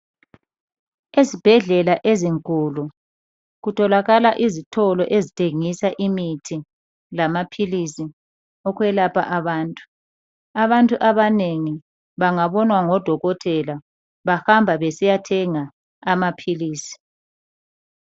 Esibhedlela ezinkulu kutholakala izitolo ezithengisa imithi lamaphilisi ukwelapha abantu. Abantu abanengi bangabonwa ngodokotela bahamba besiyathenga amaphilisi.